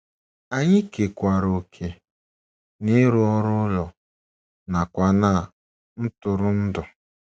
Anyị kekwaara òkè n’ịrụ ọrụ ụlọ nakwa ná ntụrụndụ. ”